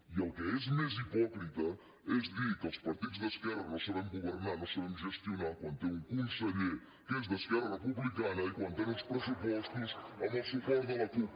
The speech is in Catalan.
i el que és més hipòcrita és dir que els partits d’esquerra no sabem governar no sabem gestionar quan té un conseller que és d’esquerra republicana i quan tenen uns pressupostos amb el suport de la cup